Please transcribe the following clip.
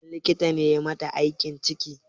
Wani likita ne yayi mata aiki ciki?